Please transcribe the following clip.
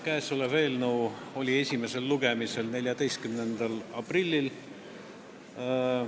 Käesolev eelnõu oli esimesel lugemisel 14. aprillil.